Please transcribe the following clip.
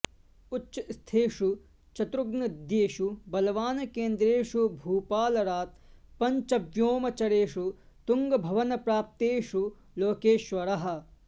उच्चस्थेषु चतुर्ग्नद्देषु बलवान् केन्द्रेषु भूपालरात् पङ्चव्योमचरेषु तुङ्गभवनप्राप्तेषु लोकेश्वरः